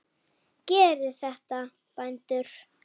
Gerið þetta, bændur!